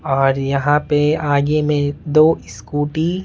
और यहां पे आगे में दो स्कूटी --